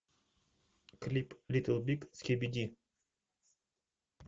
клип литл биг скибиди